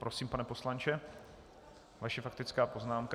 Prosím, pane poslanče, vaše faktická poznámka.